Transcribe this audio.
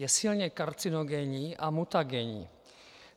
Je silně karcinogenní a mutagenní.